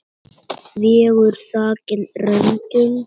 Veggur þakinn röndum.